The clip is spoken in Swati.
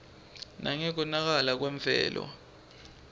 nangekonakala kwemvelo